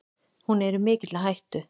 Hún er í mikilli hættu.